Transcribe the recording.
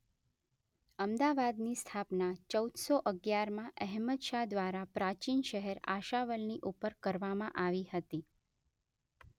અમદાવાદની સ્થાપના ચૌદસો અગિયારમાં અહમદશાહ દ્વારા પ્રાચીન શહેર આશાવલની ઉપર કરવામાં આવી હતી.